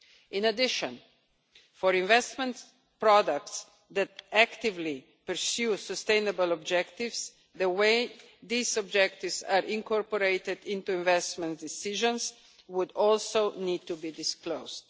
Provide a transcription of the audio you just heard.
In addition, for investment products that actively pursue sustainable objectives, the way these objectives are incorporated into investment decisions would also need to be disclosed.